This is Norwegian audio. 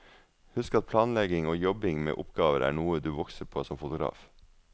Husk at planlegging og jobbing med oppgaver er noe du vokser på som fotograf.